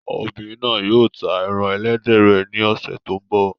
Obìnrin náà yóò ta ẹran ẹlẹ́dẹ̀ rẹ̀ ní ọ̀sẹ̀ tó ń bọ̀.